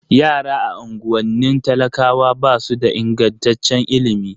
Yara a unguwannin talakawa ba su da ingantaccen ilimi